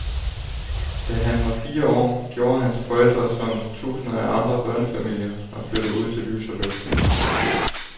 Da han var fire år, gjorde hans forældre som tusinder af andre børnefamilier, og flyttede ud til lys og luft.